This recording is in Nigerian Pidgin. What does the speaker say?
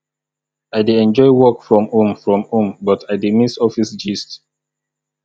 i dey enjoy work from home from home but i dey miss office gist